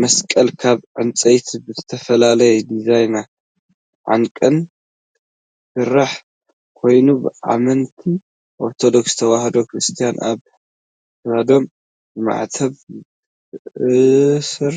መስቀል ካብ ዕንፀይቲ ብዝተፈላለዩ ዲዛይናትን ዓቀንን ዝስራሕ ኮይኑ ብኣመንቲ ኦርቶዶክስ ተዋህዶ ክርስትያን ኣብ ክሳዶም ብማዕተብ ዝእሰር